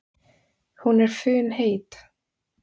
Hún er funheit.